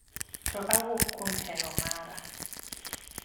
to awuok kuom hero mara